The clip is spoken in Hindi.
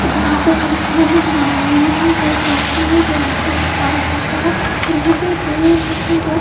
यहां पे हर एक झाड़ नजर आ रही है जो एक रास्ता है जो रास्ता उस पार जाता है और वहां पे दूर देखें तो--